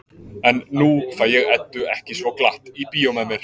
En nú fæ ég Eddu ekki svo glatt í bíó með mér.